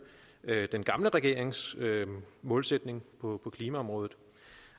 den foregående regerings målsætning på klimaområdet